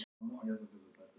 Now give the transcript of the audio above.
Íris, hvað er jörðin stór?